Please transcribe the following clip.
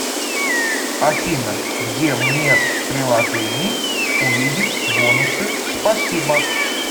афина где мне в приложении увидеть бонусы спасибо